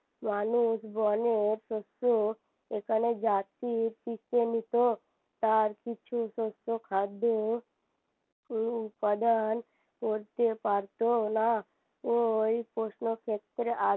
মানুষ বনে থাকতো এখানে তার কিছুই শস্য খাদ্য উপাদান করতে পারত না ওই প্রশ্ন ক্ষেত্রে